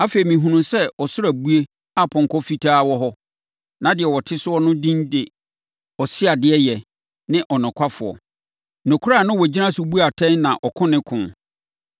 Afei, mehunuu sɛ ɔsoro abue a ɔpɔnkɔ fitaa wɔ hɔ. Na deɛ ɔte ne so no edin de “Ɔseadeɛyɛ ne Ɔnokwafoɔ.” Nokorɛ na ɔgyina so bu atɛn na ɔko ne ko.